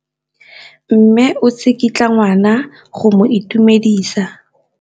Mme o tsikitla ngwana go mo itumedisa.